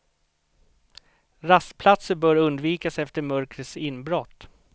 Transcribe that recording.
Rastplatser bör undvikas efter mörkrets inbrott.